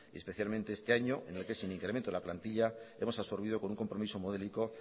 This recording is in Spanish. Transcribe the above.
especialmente este año en el que sin incremento de la plantilla hemos absorbido con un compromiso modélico